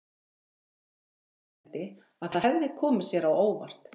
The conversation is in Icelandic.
Friðrik viðurkenndi, að það hefði komið sér á óvart.